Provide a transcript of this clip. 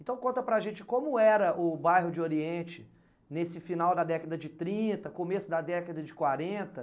Então conta para a gente como era o bairro de Oriente nesse final da década de trinta, começo da década de quarenta.